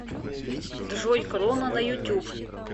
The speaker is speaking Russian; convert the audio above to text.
джой кроно на ютюб